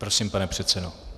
Prosím, pane předsedo.